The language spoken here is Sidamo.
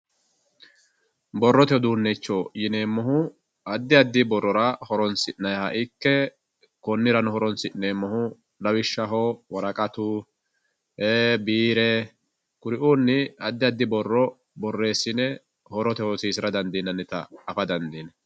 borrote uduunnicho yineemmohu addi addi borrora horoonsi'nayiiha ikke konnirano horoonsi'neemmohu lawishshaho woraqatu biire kuri"uunni addi addi borro borreessine horote hosiisira dandiinannita afa dandiinanni.